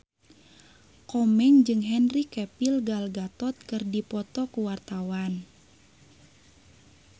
Komeng jeung Henry Cavill Gal Gadot keur dipoto ku wartawan